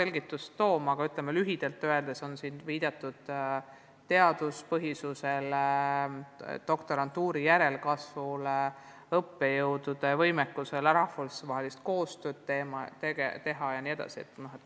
Lühidalt öeldes viitas ülikool erialale vajalikule teaduspõhisusele, doktorantuuri järelkasvule, õppejõudude võimekusele rahvusvahelist koostööd teha jms.